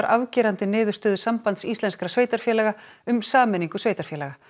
afgerandi niðurstöðu Sambands íslenskra sveitarfélaga um sameiningu sveitarfélaga